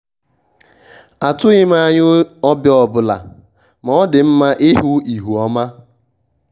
atụghị m anya onye ọbịa ọbụla ma ọ dị mma ịhụ ihu ọma